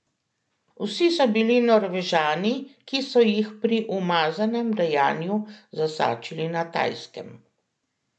Vsi so bili Norvežani, ki so jih pri umazanem dejanju zasačili na Tajskem.